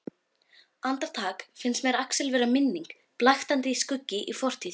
Andartak finnst mér Axel vera minning, blaktandi skuggi í fortíð.